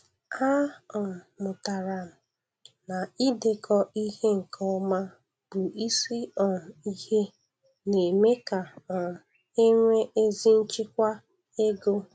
A um mụtara m na idekọ ihe nke ọma bụ isi um ihe na-eme ka um e nwee ezi nchịkwa ego.